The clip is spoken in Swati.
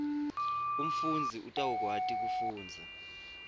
umfundzi utawukwati kufundza